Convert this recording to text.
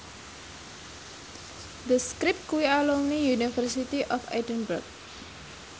The Script kuwi alumni University of Edinburgh